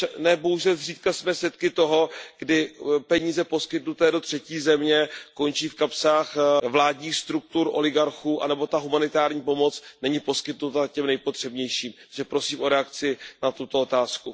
Ne bohužel zřídka jsme svědky toho, kdy peníze poskytnuté do třetí země končí v kapsách vládních struktur oligarchů nebo humanitární pomoc není poskytnuta těm nejpotřebnějším. Takže prosím o reakci na tuto otázku.